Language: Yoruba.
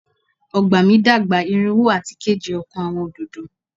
Ọgba mi dagba irinwo ati keje ọkan Awọn ododo